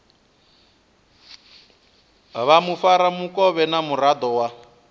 vha mufaramukovhe na muraḓo wa